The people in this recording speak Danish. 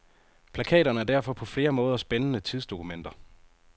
Plakaterne er derfor på flere måder spændende tidsdokumenter.